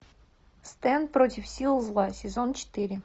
стэн против сил зла сезон четыре